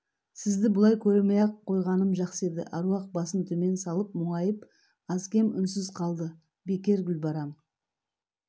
сізді бұлай көрмей-ақ қойғаным жақсы еді аруақ басын төмен салып мұңайып аз-кем үнсіз қалды бекер гүлбарам